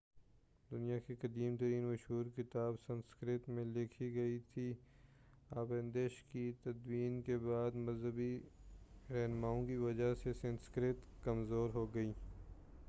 دنیا کی قدیم ترین مشہور کتاب سنسکرت میں لکھی گئی تھی اپنشدوں کی تدوین کے بعد مذہبی رہنماوں کی وجہ سے سنسکرت کمزور ہو گئی